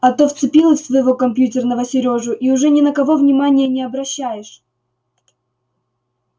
а то вцепилась в своего компьютерного серёжу и уже ни на кого внимания не обращаешь